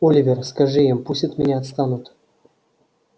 оливер скажи им пусть от меня отстанут